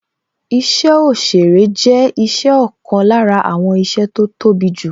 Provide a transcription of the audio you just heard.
Isẹ òsèrè jẹ́ isẹ ọ̀kan lára àwọn iṣẹ́ tó tóbi jù